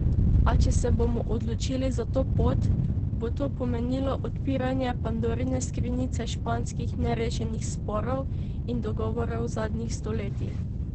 A če se bomo odločili za to pot, bo to pomenilo odpiranje pandorine skrinjice španskih nerešenih sporov in dogovorov zadnjih stoletij.